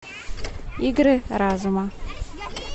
игры разума